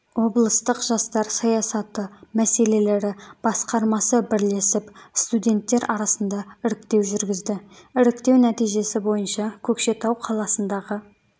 облыстық жастар саясаты мәселелері басқармасы бірлесіп студенттер арасында іріктеу жүргізді іріктеу нәтижесі бойынша көкшетау қаласындағы